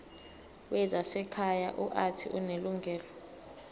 wezasekhaya uuthi unelungelo